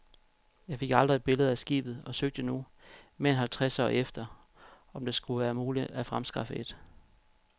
Jeg fik aldrig et billede af skibet og søgte nu, mere end halvtreds år efter, om det skulle være muligt at fremskaffe et.